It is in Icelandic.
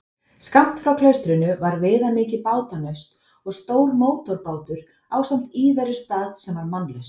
Skammt frá klaustrinu var viðamikið bátanaust og stór mótorbátur ásamt íverustað sem var mannlaus.